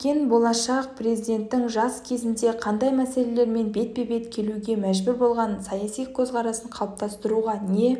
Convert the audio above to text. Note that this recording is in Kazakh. кеткен болашақ президенттің жас кезінде қандай мәселелермен бетпе-бет келуге мәжбүр болғаны саяси көзқарасын қалыптастыруға не